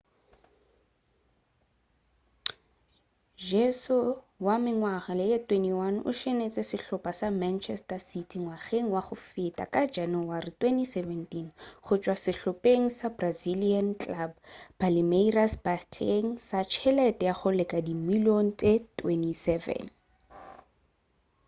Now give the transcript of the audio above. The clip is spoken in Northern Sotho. jesus wa mengwaga ye 21 o tsenetše sehlopa sa manchester city ngwageng wa go feta ka janawari 2017 go tšwa sehlopeng sa brazilian club palmeiras bakeng sa tšhelete ya go leka dimilion tšw £27